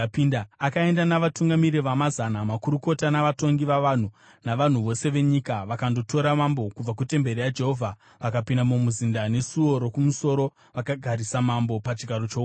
Akaenda navatungamiri vamazana, makurukota navatongi vavanhu navanhu vose venyika vakandotora mambo kubva kutemberi yaJehovha. Vakapinda mumuzinda neSuo Rokumusoro vakagarisa mambo pachigaro choumambo,